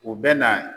U bɛ na